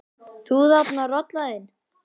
Þú þarna, rolan þín.